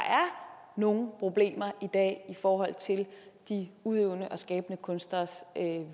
nogle problemer i dag i forhold til de udøvende og skabende kunstneres